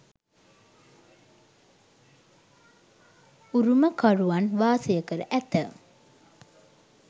උරුමකරුවන් වාසය කර ඇත.